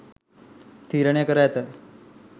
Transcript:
තීරණය කර ඇත.